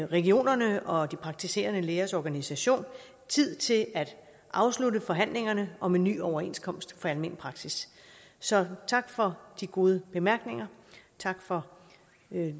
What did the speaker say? regionerne og praktiserende lægers organisation tid til at afslutte forhandlingerne om en ny overenskomst for almen praksis så tak for de gode bemærkninger tak for